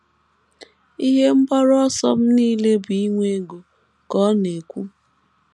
“ Ihe mgbaru ọsọ m nile bụ inwe ego, ” ka ọ na - ekwu.